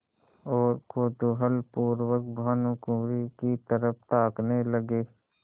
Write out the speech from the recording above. और कौतूहलपूर्वक भानुकुँवरि की तरफ ताकने लगे